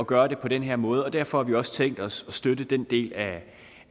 gøre det på den her måde og derfor har vi også tænkt os at støtte den del af